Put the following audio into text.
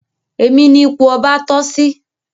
Èmi ní ipò ọba toh sí